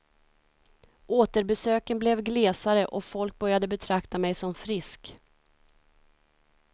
Återbesöken blev glesare, och folk började betrakta mig som frisk.